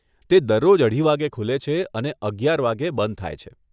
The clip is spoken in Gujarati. તે દરરોજ અઢી વાગ્યે ખુલે છે અને અગિયાર વાગ્યે બંધ થાય છે.